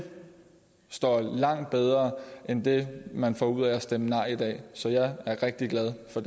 så langt bedre end det man får ud af at stemme nej i dag så jeg er rigtig glad for